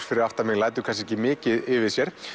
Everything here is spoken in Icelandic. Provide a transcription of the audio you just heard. fyrir aftan mig lætur kannski ekki mikið yfir sér